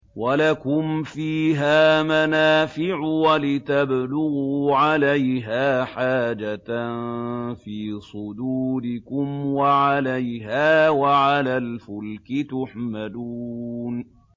وَلَكُمْ فِيهَا مَنَافِعُ وَلِتَبْلُغُوا عَلَيْهَا حَاجَةً فِي صُدُورِكُمْ وَعَلَيْهَا وَعَلَى الْفُلْكِ تُحْمَلُونَ